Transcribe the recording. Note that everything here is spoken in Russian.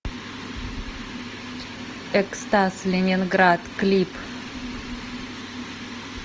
экстаз ленинград клип